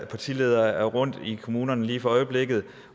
partiledere er rundt i kommunerne lige for øjeblikket